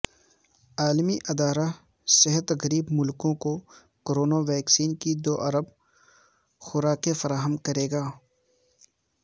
عالمی ادارہ صحت غریب ملکوں کو کرونا ویکسین کی دو ارب خوراکیں فراہم کرے گا